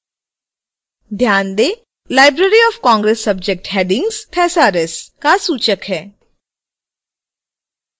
ध्यान दें 0 library of congress subject headings thesaurus का सूचक है